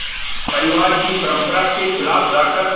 परिवार की परंपरा के ख़िलाफ़ जाकर